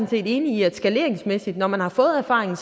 set enig i at det skaleringsmæssigt når man har fået erfaringen